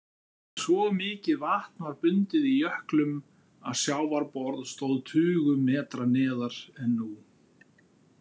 Svo mikið vatn var bundið í jöklum að sjávarborð stóð tugum metra neðar en nú.